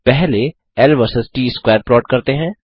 पहले L versus T square plot करते हैं